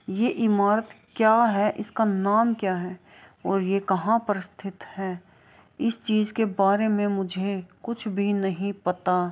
ये इमारत क्या है इसका नाम क्या है और ये कहां पर स्थित है इस चीज के बारे मे मुझे कुछ भी नहीं पता।